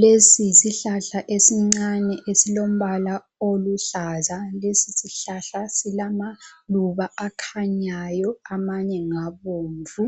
Lesi yisihlahla esincane esilombala oluhlaza. Lesi sihlahla silamaluba akhanyayo amanye ngabomvu.